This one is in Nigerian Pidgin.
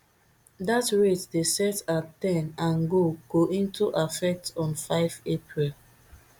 dat rate dey set at ten and go go into effect on five april